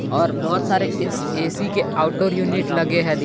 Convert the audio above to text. और बहुत सारे ए_सी के आउटडोर यूनिट लगे हैं।